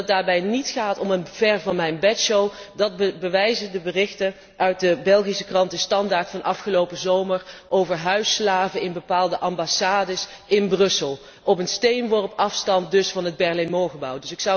Dat het daarbij niet gaat om een ver van mijn bed show bewijzen de berichten uit de Belgische krant De Standaard van afgelopen zomer over huisslaven in bepaalde ambassades in Brussel, op een steenworp afstand dus van het Berlaymont gebouw.